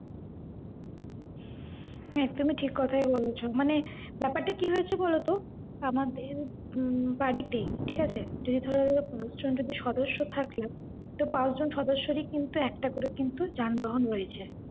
একদম ই ঠিক কোথাই বলেছ, মানে ব্যাপারটা কি হয়েছে বলতো আমাদের উম বাড়িতে ঠিকাছে যদি ধরো পাঁচজন যদি সদস্য থাকে, তো পাঁচজন সদস্য এর ই কিন্তু একটা করে কিন্তু যানবাহন রয়েছে।